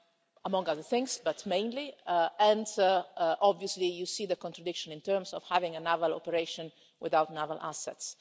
among other things, but mainly that. Obviously you see the contradiction in terms of having a naval operation without naval assets.